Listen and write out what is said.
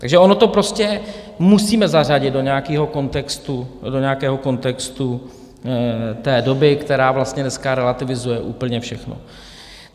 Takže ono to prostě musíme zařadit do nějakého kontextu té doby, která vlastně dneska relativizuje úplně všechno.